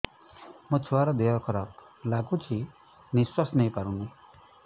ମୋ ଛୁଆର ଦିହ ଖରାପ ଲାଗୁଚି ନିଃଶ୍ବାସ ନେଇ ପାରୁନି